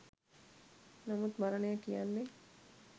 නමුත් මරණය කියන්නෙ